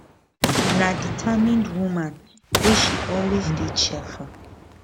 na determined woman wey she always dey cheerful